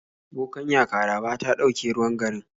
Bokanya Karaba ta dauke ruwan garin